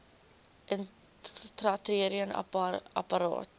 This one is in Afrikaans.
intrauteriene apparaat iua